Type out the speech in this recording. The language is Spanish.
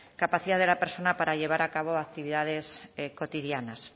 capacidad de la persona para llevar a cabo actividades cotidianas